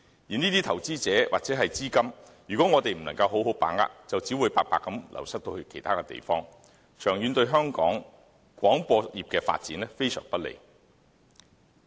如果我們不能好好把握這些投資者或資金，便只會白白流失到其他地方，長遠對香港廣播業的發展非常不利。